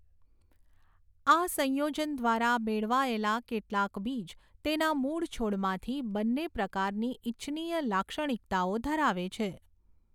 આ સંયોજન દ્વારા મેળવાયેલા કેટલાંક બીજ તેના મૂળ છોડમાંથી બન્ને પ્રકારની ઇચ્છનીય લાક્ષણિકતાઓ ધરાવે છે.